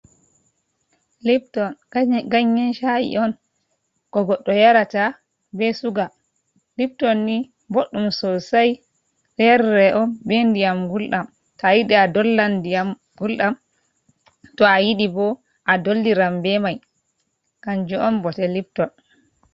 Lipton ganyen sha’i on ko goɗɗo yarata be suga. Lipton ni boɗɗum sosai. Ɗo yarire on be ndiyam gulɗam. To a yiɗi a dollan ndiyam gulɗam, to a yiɗi bo a dolliran be mai. kanju on bote Lipton.